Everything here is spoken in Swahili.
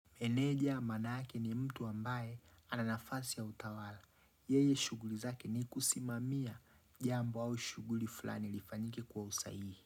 Meneja manake ni mtu ambaye ana nafasi ya utawala. Yeye shughuli zake ni kusimamia jambo au shuguli fulani lifanyike kwa usahihi.